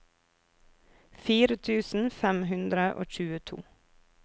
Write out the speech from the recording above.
fire tusen fem hundre og tjueto